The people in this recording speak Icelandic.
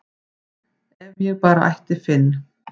ef ég bara ætti Finn